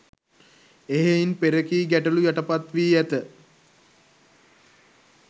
එහෙයින් පෙරකී ගැටළු යටපත් වී ඇත